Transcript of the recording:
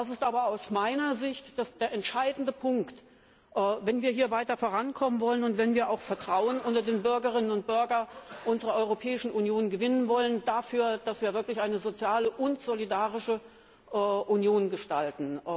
Das ist aber aus meiner Sicht der entscheidende Punkt, wenn wir weiter vorankommen wollen und wenn wir auch Vertrauen unter den Bürgerinnen und Bürgern unserer Europäischen Union gewinnen wollen, dass wir wirklich eine soziale und solidarische Union gestalten.